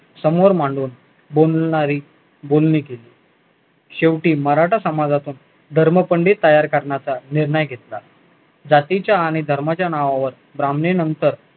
समोर मांडून बोलणारी बोलणी केली शेवटी मराठा समाजाचा धर्मपंडित तयार करण्याचा निर्णय घेतला जातीच्या आणि धर्माच्या नावावर ब्राह्मणेनंतर